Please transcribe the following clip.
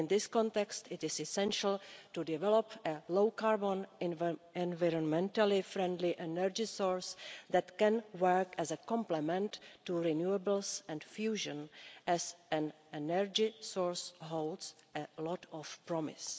In this context, it is essential to develop a low-carbon, environmentally friendly energy source that can work as a complement to renewables and fusion as an energy source it holds a lot of promise.